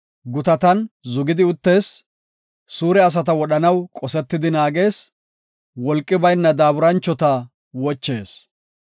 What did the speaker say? Gutatan zugidi uttees; suure asata wodhanaw qosetidi naagees; wolqi bayna daaburanchota wochees.